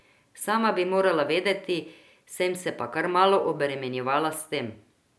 Sama bi morala vedeti, sem se pa kar malo obremenjevala s tem.